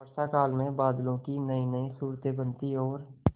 वर्षाकाल में बादलों की नयीनयी सूरतें बनती और